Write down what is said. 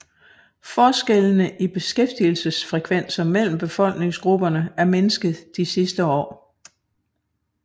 Forskellene i beskæftigelsesfrekvenser mellem befolkningsgrupperne er mindsket i de senere år